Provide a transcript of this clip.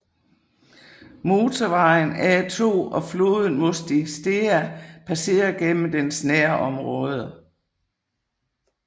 Motorvejen A2 og floden Mostiștea passerer gennem dens nærområde